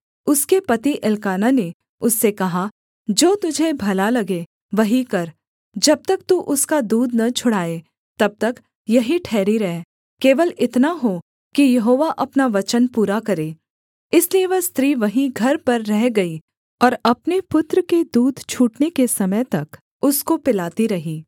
उसके पति एल्काना ने उससे कहा जो तुझे भला लगे वही कर जब तक तू उसका दूध न छुड़ाए तब तक यहीं ठहरी रह केवल इतना हो कि यहोवा अपना वचन पूरा करे इसलिए वह स्त्री वहीं घर पर रह गई और अपने पुत्र के दूध छूटने के समय तक उसको पिलाती रही